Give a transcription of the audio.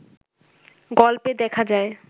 গল্পে দেখা যায়